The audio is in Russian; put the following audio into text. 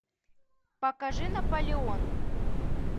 покажи наполеон